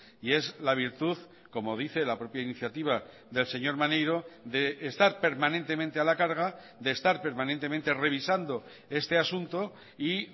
y es la virtud como dice la propia iniciativa del señor maneiro de estar permanentemente a la carga de estar permanentemente revisando este asunto y